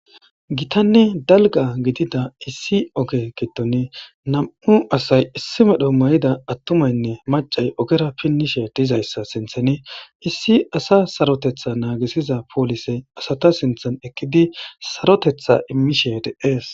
Githanne dalgga gidida issi oge giddoni nam7u asay issi medho mayida aththumaynne maccay ogera pinnishee dizayssa sinththani issi asaa sarotheththaa naagissiza polisee asatha sinththan eqqidi sarotheththaa immishee de7ees.